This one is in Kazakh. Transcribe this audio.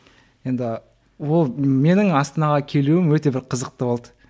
енді ол менің астанаға келуім өте бір қызықты болды